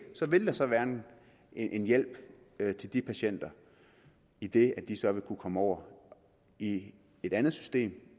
vil det så være en hjælp til de patienter idet de så vil kunne komme over i et andet system